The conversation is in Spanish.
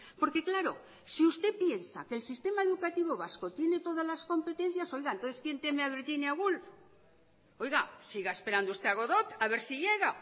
porque claro si usted piensa que el sistema educativo vasco tiene todas las competencias oiga entonces quién teme a virginia woolf oiga siga esperando usted a godot a ver si llega